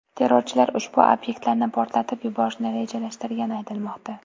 Terrorchilar ushbu obyektlarni portlatib yuborishni rejalashtirgani aytilmoqda.